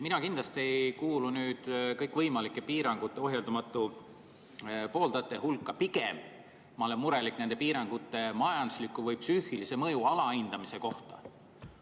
Mina kindlasti ei kuulu kõikvõimalike piirangute ohjeldamatute pooldajate hulka, pigem ma olen murelik nende piirangute majandusliku või psüühilise mõju alahindamise pärast.